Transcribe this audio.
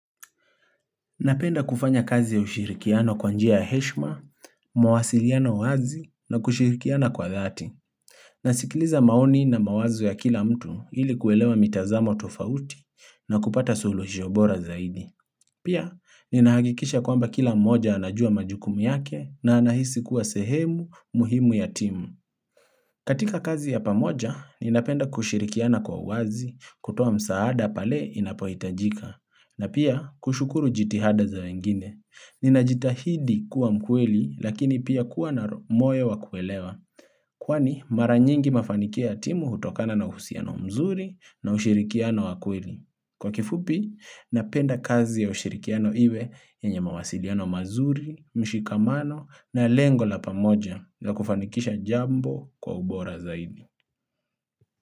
Napenda kufanya kazi ya ushirikiano kwa njia ya heshma, mawasiliano wazi na kushirikiana kwa dhati. Nasikiliza maoni na mawazo ya kila mtu ili kuelewa mitazamo tofauti na kupata solushyobora zaidi. Pia, ninahakikisha kwamba kila mmoja anajua majukumu yake na anahisi kuwa sehemu muhimu ya timu. Katika kazi ya pamoja, ninapenda kushirikiana kwa uwazi kutoa msaada pale inapoitajika. Na pia kushukuru jitihada za wengine. Nina jitahidi kuwa mkweli lakini pia kuwa na moyo wakuelewa. Kwani mara nyingi mafanikio timu hutokana na uhusiano mzuri na ushirikiano wakweli. Kwa kifupi, napenda kazi ya ushirikiano iwe yenye mawasiliano mazuri, mshikamano na lengo la pamoja na kufanikisha jambo kwa ubora zaidi.